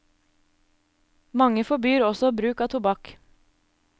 Mange forbyr også bruk av tobakk.